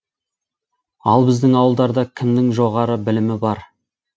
ал біздің ауылдарда кімнің жоғары білімі бар